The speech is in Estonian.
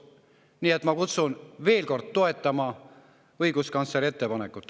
Nii et ma kutsun veel kord toetama õiguskantsleri ettepanekut.